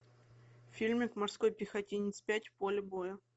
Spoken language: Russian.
фильмик морской пехотинец пять поле боя